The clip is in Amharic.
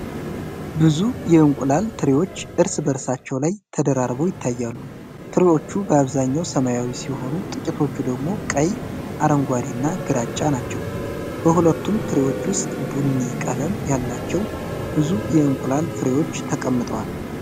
ብዙ የእንቁላል ትሪዎች እርስ በእርሳቸው ላይ ተደራርበው ይታያሉ። ትሪዎቹ በአብዛኛው ሰማያዊ ሲሆኑ፣ ጥቂቶቹ ደግሞ ቀይ፣ አረንጓዴ እና ግራጫ ናቸው። በሁሉም ትሪዎች ውስጥ ቡኒ ቀለም ያላቸው ብዙ የእንቁላል ፍሬዎች ተቀምጠዋል።